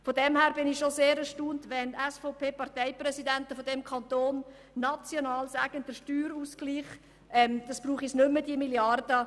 Insofern bin ich schon erstaunt, wenn SVP-Parteipräsidenten dieses Kantons sagen, dass es den Steuerausgleich nicht mehr brauche.